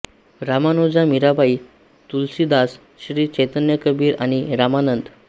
रामानुजा मीराबाई तुलसीदास श्री चैतन्य कबीर आणि रामानंद